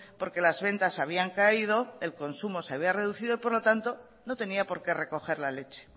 porque las ventas habían caído el consumo se había reducido por lo tanto no tenía porque recoger la leche